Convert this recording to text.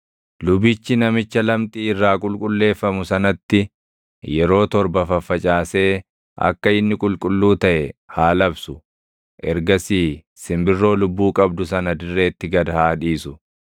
Lubichi namicha lamxii irraa qulqulleeffamu sanatti yeroo torba faffacaasee akka inni qulqulluu taʼe haa labsu; ergasii simbirroo lubbuu qabdu sana dirreetti gad haa dhiisu.